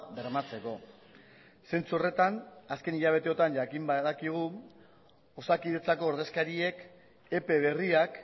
bermatzeko zentzu horretan azken hilabeteotan jakin badakigu osakidetzako ordezkariek epe berriak